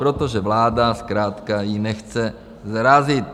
Protože vláda zkrátka ji nechce zarazit.